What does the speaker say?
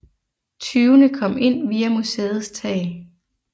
Tyvene kom ind via museets tag